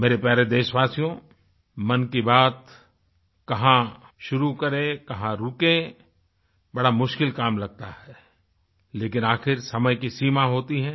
मेरे प्यारे देशवासियो मन की बात कहाँ शुरू करें कहाँ रुकें बड़ा मुश्किल काम लगता है लेकिन आखिर समय की सीमा होती है